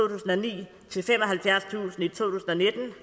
tusind i to